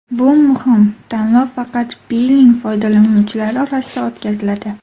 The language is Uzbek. Bu muhim: tanlov faqat Pinngle foydalanuvchilari orasida o‘tkaziladi.